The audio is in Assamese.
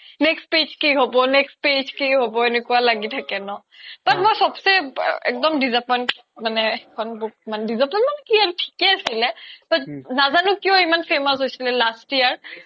next page কি হ্'ব next page কি হ্'ব এনেকুৱা লাগি থাকে ন তো মই চ্'ব্ছে disappoint খেইখন book disappoint মানে কি আৰু থিকে আছিলে তৌ নাজানো কিও ইমান famous হৈছিলে last year